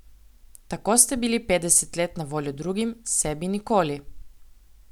Tako ste bili petdeset let na voljo drugim, sebi nikoli.